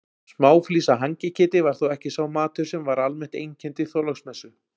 Smáflís af hangiketi var þó ekki sá matur sem almennt einkenndi Þorláksmessu.